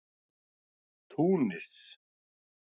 Túnis